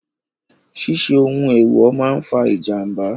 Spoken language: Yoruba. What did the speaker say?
Ṣíṣe ohun èèwò máa fa ìjàmbá.